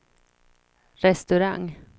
restaurang